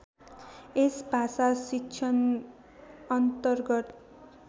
यस भाषाशिक्षण अन्तर्गत